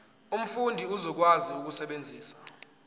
umfundi uzokwazi ukusebenzisa